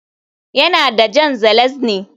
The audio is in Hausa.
Yana da Jan ŽELEZNÝ